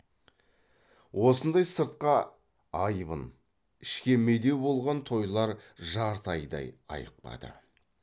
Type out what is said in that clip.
осындай сыртқа айбын ішке медеу болған тойлар жарты айдай айықпады